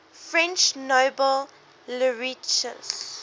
french nobel laureates